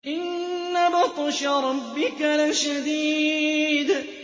إِنَّ بَطْشَ رَبِّكَ لَشَدِيدٌ